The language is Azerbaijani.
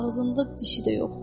Ağzında dişi də yox.